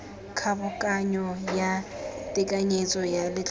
kgobokanyo ya tekanyetso ya letlotlo